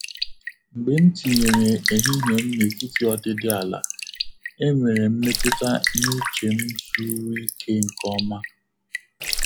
Mgbe m tinyere ehihie m n’etiti ọdịdị ala, enwere m mmetụta na uche m zuuru Ike nke ọma.